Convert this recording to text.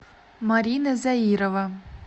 марина заирова